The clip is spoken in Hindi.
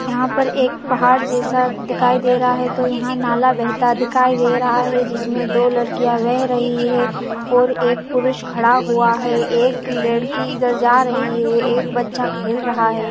यहाँ पर एक पहाड़ जैसा दिखाई दे रहा है तो यहाँ नाला बेहता दिखाई दे रहा है जिसमे दो लड़कियां बेह रही है और एक पुरुष खड़ा हुआ है एक लड़की इधर जा रही है एक बच्चा खेल रहा है।